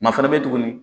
Ma fana bɛ yen tugun